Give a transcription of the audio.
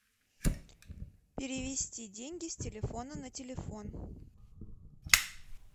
перевести деньги с телефона на телефон